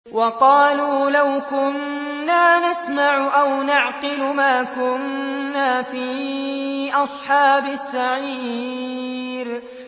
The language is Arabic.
وَقَالُوا لَوْ كُنَّا نَسْمَعُ أَوْ نَعْقِلُ مَا كُنَّا فِي أَصْحَابِ السَّعِيرِ